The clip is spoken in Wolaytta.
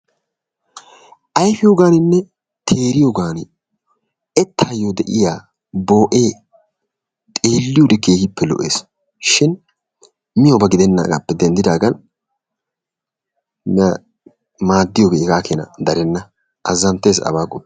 Ayfiyogaaninne teeriyogaan ettayo de'iya bookeeper xeeliyode keehippe lo'ees, shin miyoba gidennaagaappe denddidaagan maadiyogee hegaa keenaa darenna azanttees abaa qoppiyode.